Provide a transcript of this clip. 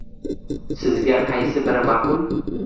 Sizga qaysi biri ma’qul?